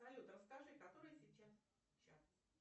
салют расскажи который сейчас час